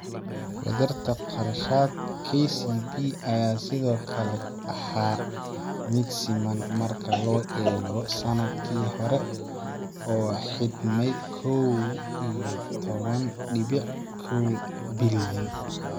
Wadarta kharashaadka KCB ayaa sidoo kale ahaa mid siman marka loo eego sannadkii hore oo xidhmay kow iyo toban dibic kow bilyan.